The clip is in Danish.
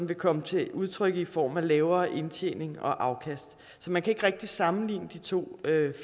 vil komme til udtryk i form af lavere indtjening og afkast så man kan ikke rigtig sammenligne de to